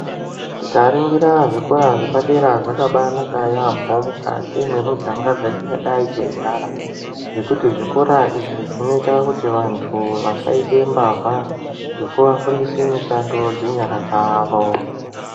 Tikaringira zvikora zvepadera zvakaba anaka yaamho mukati mwemiganga dzatingadai teigara ngekuti zvikora izvi zvinoita kuti vantu vasaite mbavha nekuvafundise mishando dzenyara dzavo.